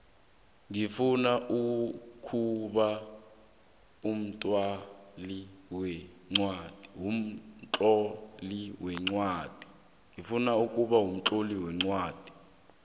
ngifuna ukuba mtloli weencwadi